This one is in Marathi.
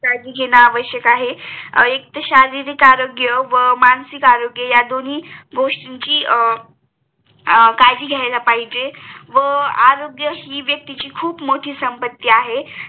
काळजी घेणे आवश्यक आहे एक तर मानसिक आरोग्य आणि शारीरिक आरोग्य यादोनि गोष्टीची काळजी घ्यायला पाहिजे व आरोग्य हि व्यक्तीची खूप मोती संपत्ती आहे